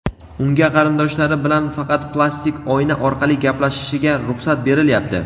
Unga qarindoshlari bilan faqat plastik oyna orqali gaplashishiga ruxsat berilyapti.